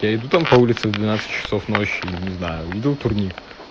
я иду там по улице в двенадцать часов ночи не знаю увидел турник